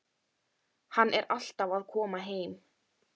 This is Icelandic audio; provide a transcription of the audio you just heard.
Hann er alltaf að koma heim.